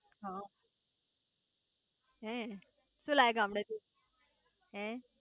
હ હે શુ લાયા ગામડે થી હે